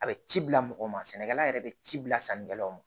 A bɛ ci bila mɔgɔ ma sɛnɛkɛla yɛrɛ bɛ ci bila sannikɛlaw ma